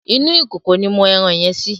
Inú ìkòkò ni mo ẹran yẹn sí.